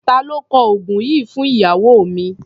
Ta ló kọ oògùn yìí fún ìyàwó mi?